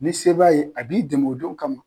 Ni se b'a ye, a b'i dɛmɛ o don kama.